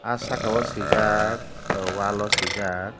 aw saka o swijak wall o swijak.